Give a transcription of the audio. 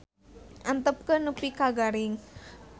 Antepkeun nepi ka garing.